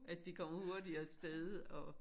At de kommer hurtigt afsted og